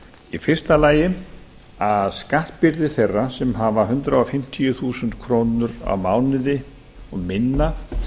í fyrsta lagi að skattbyrði þeirra sem hundrað fimmtíu þúsund krónur á mánuði og minna